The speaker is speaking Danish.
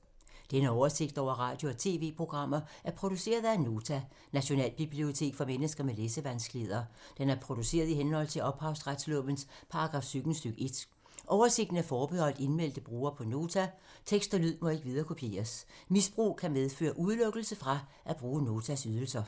Denne oversigt over radio og TV-programmer er produceret af Nota, Nationalbibliotek for mennesker med læsevanskeligheder. Den er produceret i henhold til ophavsretslovens paragraf 17 stk. 1. Oversigten er forbeholdt indmeldte brugere på Nota. Tekst og lyd må ikke viderekopieres. Misbrug kan medføre udelukkelse fra at bruge Notas ydelser.